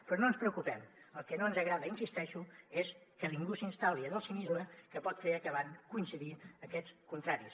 però no ens preocupem el que no ens agrada hi insisteixo és que ningú s’instal·li en el cinisme que pot fer acabar coincidint aquests contraris